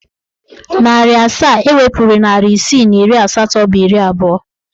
Narị asaa ewepuru narị isii na iri asatọ bụ iri abụọ.